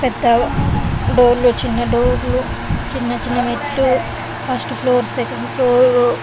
పెద్ద డోర్లు చిన్న డోర్లు చిన్న చిన్న మెట్లు ఫస్ట్ ఫ్లోర్ సెకండ్ ఫ్లోర్ --